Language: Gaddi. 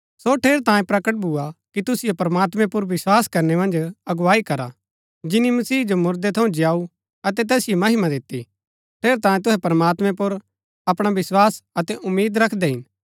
सो ठेरैतांये प्रकट भुआ कि तुसिओ प्रमात्मैं पुर विस्वास करनै मन्ज अगुवाई करा जिनी मसीह जो मुरदै थऊँ जीयाऊ अतै तैसिओ महिमा दिती ठेरैतांये तुहै प्रमात्मैं पुर अपणा विस्वास अतै उम्मीद रखदै हिन